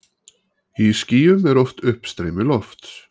Í skýjum er oft uppstreymi lofts.